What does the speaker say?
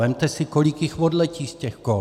Vezměte si, kolik jich odletí z těch kol.